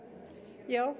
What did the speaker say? já